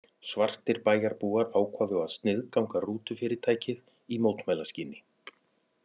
Svartir bæjarbúar ákváðu að sniðganga rútufyrirtækið í mótmælaskyni.